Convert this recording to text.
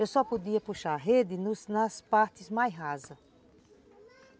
Eu só podia puxar a rede nos nas nas partes mais rasas.